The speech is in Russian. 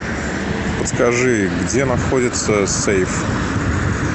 скажи где находится сейф